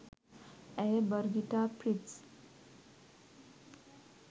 ඇය බර්ගිටා ප්‍රිට්ස්